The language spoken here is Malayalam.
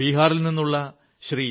ബീഹാറിൽ നിന്നുള്ള ശ്രീ